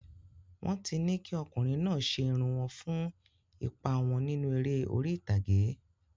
Wọ́n ti ní kí ọkùnrin náà ṣe irun wọn fún ipa wọn nínú eré orí ìtàgé.